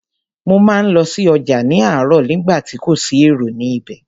Mo máa ń lọ sí ọjà láròóò nígbà tí èrò kò sí ní ibẹ̀